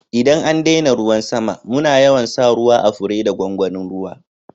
ldan an daina ruwan sama muna yawan sa ruwa à fure da gwangwanin ruwa.